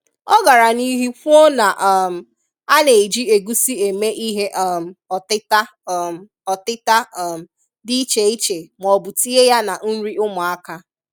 Ọ gara n’ihu kwuo na um a na-eji egúsí eme ihe um ọtita um ọtita um dị iche iche maọbu tinye ya na nri ụmụaka.